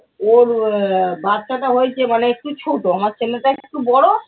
ওর আহ বাচ্চাটা হয়েছে মানে একটু ছোট আমার ছেলেটা একটু বড়ো